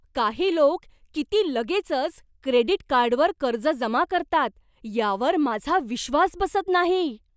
काही लोक किती लगेचच क्रेडिट कार्डवर कर्ज जमा करतात यावर माझा विश्वास बसत नाही.